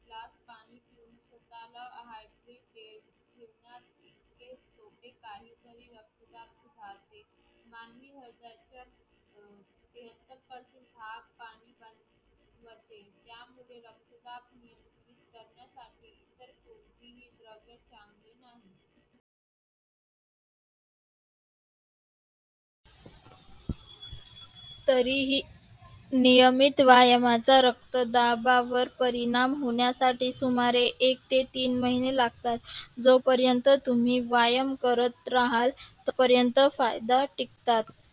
तरीही नियमित व्यायामाचा रक्तदाबावर परिणाम होण्यासाठी सुमारे एक ते तीन महिने लागतात जोपर्यंत तुम्ही व्यायाम करत राहाल तोपर्यंत फायदा टिकतात.